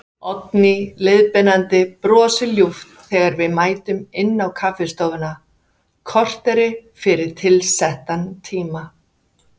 Oddný leiðbeinandi brosir ljúft þegar við mætum inn á kaffistofuna, kortéri fyrir tilsettan tíma.